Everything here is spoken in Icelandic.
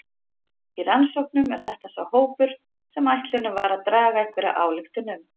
Í rannsóknum er þetta sá hópur sem ætlunin er að draga einhverja ályktun um.